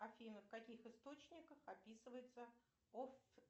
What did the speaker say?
афина в каких источниках описывается